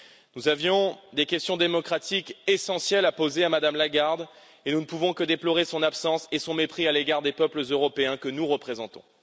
Nous avions des questions démocratiques essentielles à poser à Mme Lagarde et nous ne pouvons que déplorer son absence et son mépris à l'égard des peuples européens que nous représentons.